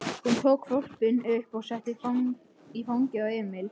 Hún tók hvolpinn upp og setti í fangið á Emil.